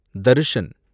Darshan